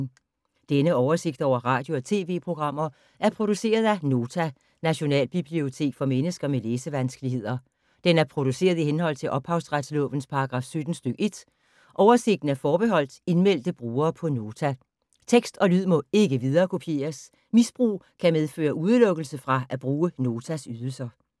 Denne oversigt over radio og TV-programmer er produceret af Nota, Nationalbibliotek for mennesker med læsevanskeligheder. Den er produceret i henhold til ophavsretslovens paragraf 17 stk. 1. Oversigten er forbeholdt indmeldte brugere på Nota. Tekst og lyd må ikke viderekopieres. Misbrug kan medføre udelukkelse fra at bruge Notas ydelser.